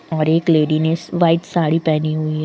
और एक लेडि ने व्हाइट साड़ी पहनी हुई है।